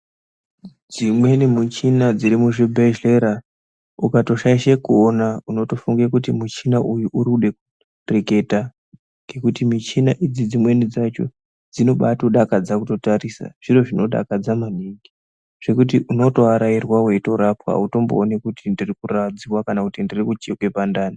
Dzimweni michina dziri muzvi bhedhlera ukatoshaishe kuona unotofunga kuti michina uyu uruda kureketa ngekuti michina idzi dzimweni dzacho dzinobaa todakadza kutotarisa zviro zvinodakadza maningi zvekuti uno toarairwa weitorapwa auto mbooni kuti ndiriku radzwa kana kuti ndiriku chekwa pandani.